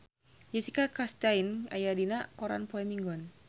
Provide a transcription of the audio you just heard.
Jessica Chastain aya dina koran poe Minggon